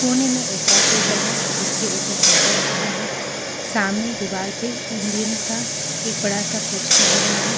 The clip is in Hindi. कोने में एक और टेबल है जिसके ऊपर प्रिंटर रखा है सामने दीवार पे इंडियन का एक बड़ा सा पोस्टर लगा है।